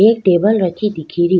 एक टेबल रखी दिखे री।